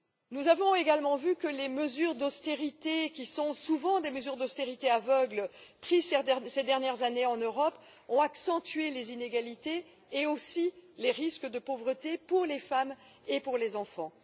Nous avons vu que les mesures d'austérité, qui sont souvent des mesures d'austérité aveugles, prises ces dernières années en Europe, ont accentué les inégalités et, aussi, les risques de pauvreté pour les femmes et les enfants.